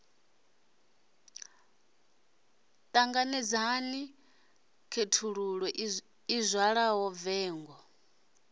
ṱanganedzana khethululo i zwala vengo